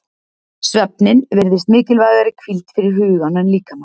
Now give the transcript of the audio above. Svefninn virðist mikilvægari hvíld fyrir hugan en líkama.